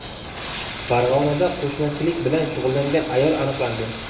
Farg‘onada qo‘shmachilik bilan shug‘ullangan ayol aniqlandi.